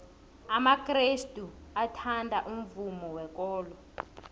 amakrestu athanda umvumo wekolo